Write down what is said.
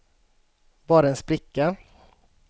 bara en spricka